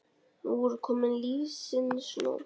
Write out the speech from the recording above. Nú er komin lífsins nótt.